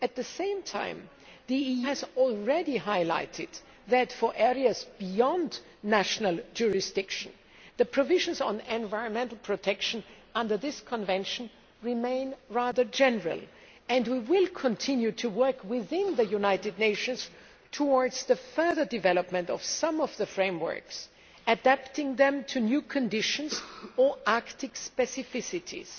At the same time, the EU has already highlighted that, for areas beyond national jurisdiction, the provisions on environmental protection under this Convention remain rather general, and we will continue to work within the United Nations towards the further development of some of the frameworks, adapting them to new conditions or Arctic specificities.